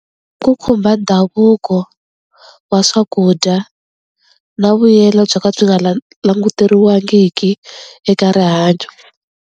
Ku khumba ndhavuko wa swakudya na vuyelo byo ka byi nga languteriwangiki eka rihanyo.